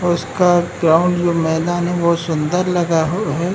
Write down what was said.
और उसका ग्राउंड जो मैदान है बहोत सुंदर लगा हु है।